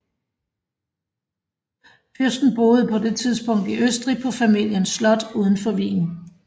Fyrsten boede på det tidspunkt i Østrig på familiens slot udenfor Wien